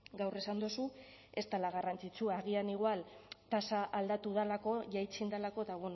gaur esan duzu ez dela garrantzitsua agian igual tasa aldatu delako jaitsi egin delako eta